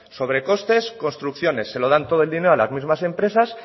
sobrecostes construcciones se lo dan todo el dinero a las mismas empresas